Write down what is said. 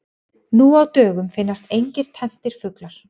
Nú á dögum finnast engir tenntir fuglar.